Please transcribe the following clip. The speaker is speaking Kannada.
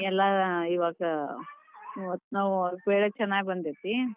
ಎಲ್ಲಾ ಇವಾಗ ಒಟ್ಟ ಬೆಳಿ ಚನ್ನಾಗಿ ಬಂದೇತಿ.